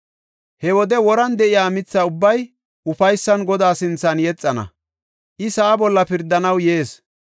He wode woran de7iya mitha ubbay ufaysan Godaa sinthan yexana. I sa7aa bolla pirdanaw yees.